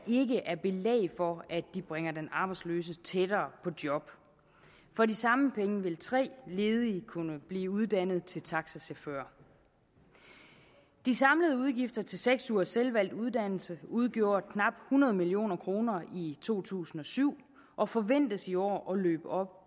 ikke er belæg for at de bringer den arbejdsløse tættere på et job for de samme penge ville tre ledige kunne blive uddannet til taxachauffører de samlede udgifter til seks ugers selvvalgt uddannelse udgjorde knap hundrede million kroner i to tusind og syv og forventes i år at løbe op